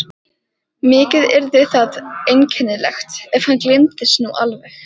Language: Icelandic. Mikið yrði það einkennilegt, ef hann gleymdist nú alveg.